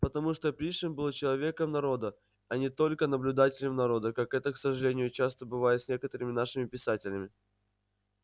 потому что пришвин был человеком народа а не только наблюдателем народа как это к сожалению часто бывает с некоторыми нашими писателями